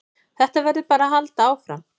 Þetta verður bara að halda áfram